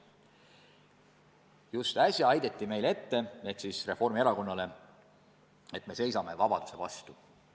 Just äsja heideti meile ehk siis Reformierakonnale ette, et me seisame vabaduse vastu.